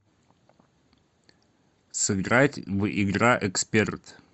сыграть в игра эксперт